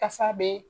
Kasa be